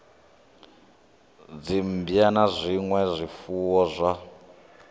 dzimmbwa na zwinwe zwifuwo zwa